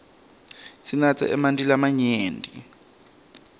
sinatse emanti lamanyenti